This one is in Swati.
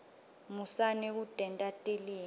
musani kutenta tilima